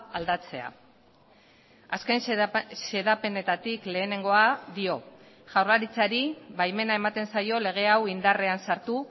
aldatzea azken xedapenetatik lehenengoa dio jaurlaritzari baimena ematen zaio lege hau indarrean sartu